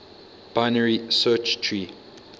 binary search tree